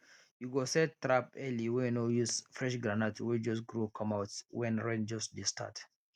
you go set trap early wey no use fresh groundnut wey just grow comeout wen rain just dey start